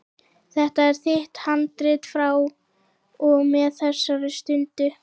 Þetta er þitt handrit frá og með þessari stundu.